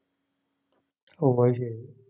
ഓഹ് അത് ശെരി